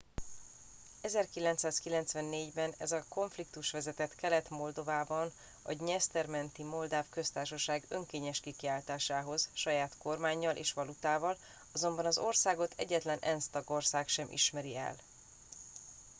1994 ben ez a konfliktus vezetett kelet moldovában a dnyeszter menti moldáv köztársaság önkényes kikiáltásához saját kormánnyal és valutával azonban az országot egyetlen ensz tagország sem ismeri el